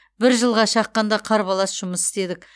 бір жылға шаққанда қарбалас жұмыс істедік